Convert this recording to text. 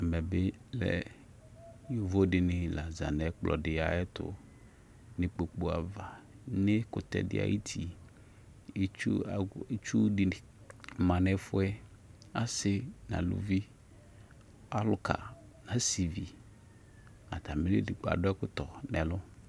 Yovo dɩnɩ laza zanʊ ɛkplɔ tʊ nʊ ikpoku ava nʊ ɛkʊtɛdɩ ayʊtɩ kʊ itsu dɩnɩ manʊ ɛfʊɛ asɩ nʊ aluvi alʊka nʊ asɩvɩ atmɩdɩgbo la adʊ ɛkʊ tɔlɔ nʊ ɛlʊ